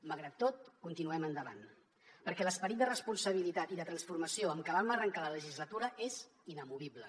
malgrat tot continuem endavant perquè l’esperit de responsabilitat i de transformació amb què vam arrencar la legislatura és inamovible